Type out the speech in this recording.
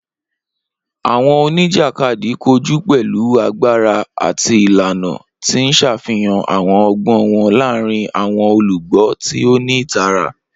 Awọn onijakadi koju pẹlu agbara ati ilana, ti n ṣafihan awọn ọgbọn wọn laaarin awọn olugbo ti o ni itara.